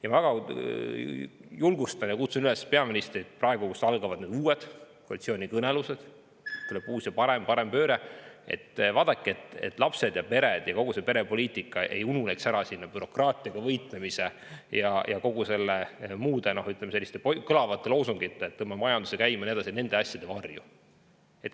Ma väga julgustan peaministrit ja kutsun teda üles praegu, kui algavad uued koalitsioonikõnelused – tuleb uus ja parem, parempööre –, vaatama, et lapsed ja pered ja kogu perepoliitika selle bürokraatiaga võitlemise ja muude, ütleme, selliste kõlavate loosungite kõrval, nagu tõmbame majanduse käima ja nii edasi, ära ei ununeks ja varju ei jääks.